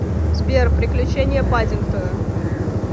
сбер приключения паддингтона